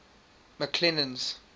mcclennan's